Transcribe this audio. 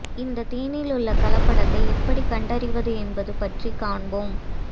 இந்த தேனில் உள்ள கலப்படத்தை எப்படி கண்டறிவது என்பது பற்றி காண்போம்